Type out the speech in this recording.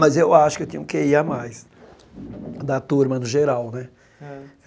Mas eu acho que eu tinha um Quê Í a mais, da turma no geral, né?